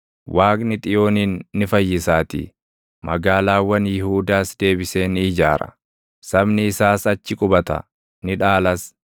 Waaqni Xiyoonin ni fayyisaatii; magaalaawwan Yihuudaas deebisee ni ijaara. Sabni isaas achi qubata; ni dhaalas.